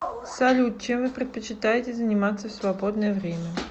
салют чем вы предпочитаете заниматься в свободное время